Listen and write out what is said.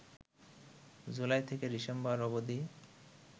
জুলাই থেকে ডিসেম্বর অবধি